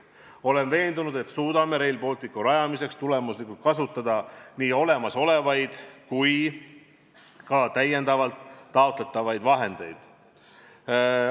Olen veendunud, et suudame Rail Balticu rajamiseks tulemuslikult kasutada nii olemasolevaid kui ka juurde taotletavaid vahendeid.